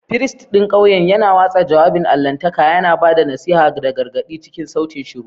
Firist ɗin ƙauyen yana watsa jawabin allahntaka, yana ba da nasiha da gargaɗi cikin sautin shiru.